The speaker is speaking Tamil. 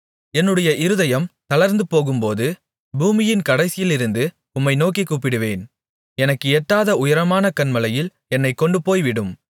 என்னுடைய இருதயம் தளர்ந்துபோகும்போது பூமியின் கடைசியிலிருந்து உம்மை நோக்கிக் கூப்பிடுவேன் எனக்கு எட்டாத உயரமான கன்மலையில் என்னைக் கொண்டுபோய்விடும்